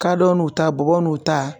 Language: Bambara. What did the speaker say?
Kadɔ n'u ta, bɔbɔ n'u ta